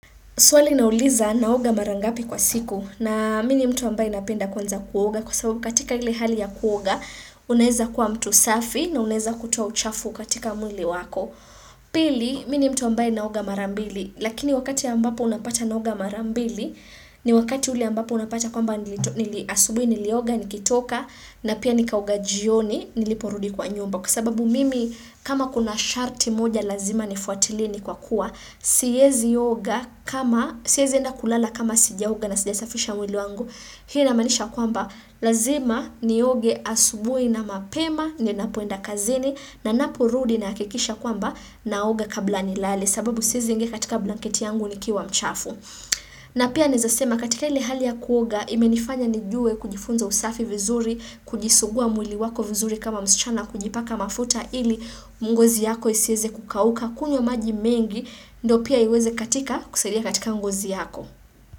Swali nauliza naoga mara ngapi kwa siku na mini mtu ambaye napenda kwanza kuoga kwa sababu katika ile hali ya kuoga unaweza kuwa mtu safi na unaweza kutuoa uchafu katika mwiliwako. Pili mimi mtu ambaye naoga mara mbili lakini wakati ambapo unapata naoga mara mbili ni wakati ule ambapo unapata kwamba nili asubuhi nilioga nikitoka na pia nikaoga jioni niliporudi kwa nyumba. Kwasababu mimi kama kuna sharti moja lazima nifuatilie kwa kuwa, siwezi oga kama, siwezi enda kulala kama sijaoga na sijasafisha mwili wangu, hii inamanisha kwamba lazima ni oge asubui na mapema, ninapoenda kazini, na ninapo rudi nahakikisha kwamba na oga kabla nilale, sababu siwezi kuingi katika blanketi yangu ni kiwa mchafu. Na pia naweza kusema katika ili hali ya kuoga imenifanya nijue kujifunza usafi vizuri, kujisugua mwili wako vizuri kama msichana kujipaka mafuta ili mgozi yako isiweze kukauka kunywa maji mengi ndo pia iweze katika kusalia katika mgozi yako.